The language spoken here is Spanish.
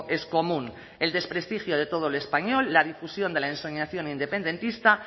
es común el desprestigio de todo lo español la difusión de la ensoñación independentista